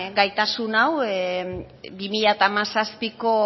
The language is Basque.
gaitasun hau bi mila hamazazpiko